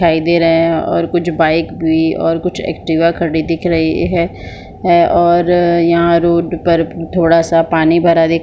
दिखाई दे रहा है और कुछ बाइक भी और कुछ एक्टिवा खड़ी दिख रही है है और यहाँ रोड पर थोड़ा सा पानी भरा दिख--